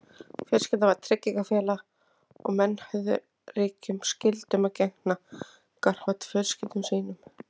Fjölskyldan var tryggingafélag og menn höfðu ríkum skyldum að gegna gagnvart fjölskyldum sínum.